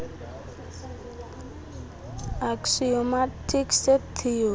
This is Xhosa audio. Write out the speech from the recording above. axiomatic set theory